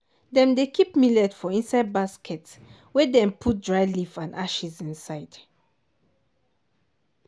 dem dey keep millet for inside basket wey dem put dry leaf and ashes inside.